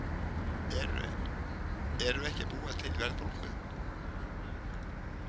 Eru ekki að búa til verðbólgu